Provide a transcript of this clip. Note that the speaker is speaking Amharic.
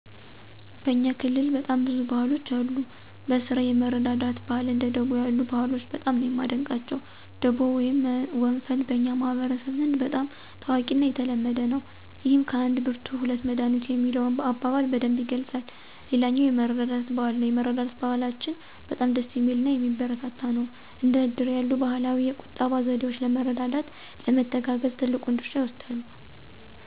በእኛ ክልል በጣም ብዙ ባህሎች አሉ። በስራ የመረዳዳት ባህል እንደ ደቦ ያሉ ባህሎች በጣም ነው ማደንቀቸው። ደቦ ወይም ወንፈል በኛ ማህበረሰብ ዘንድ በጣም ታዋቂና የተለመደ ነው። ይህም ከአንድ ብርቱ ሁለት መዳኒቱ የሚለውን አበባል በደንብ ይገልፃል። ሌላኛው የመረዳዳት ባህል ነው የመረዳዳት ባህላችን በጣም ደስ ሚልናየሚበረታታ ነው። እንደ እድር ያሉ ባህላዊ የቁጠባ ዘዴወች ለመረዳዳት፣ ለመተጋገዝ ትልቁን ድርሻ ይወስዳሉ።